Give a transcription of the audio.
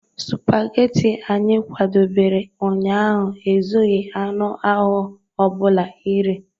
Spageti anyị kwadebere ụnyaahụ ezughị anụ ahụ ọ bụla iri.